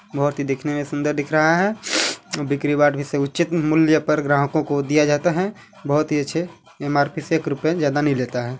बहुत ही देखने में सुंदर दिख रहा है और बिक्री बाट से उचित मूल्य पर ग्राहकों को दिया जाता है बहुत ही अच्छे एम_आर_पी से एक रुपये ज्यादा नहीं लेता है।